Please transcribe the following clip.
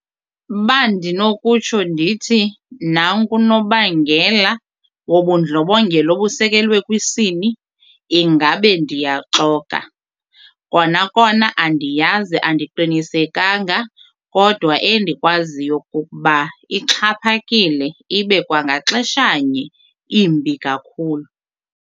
Uba ndinokutsho ndithi nanku unobangela wobundlobongela obusekelwe kwisini ingabe ndiyaxoka. Kona kona andiyazi andiqinisekanga kodwa endikwaziyo kukuba ixhaphakile ibe kwangaxeshanye imbi kakhulu.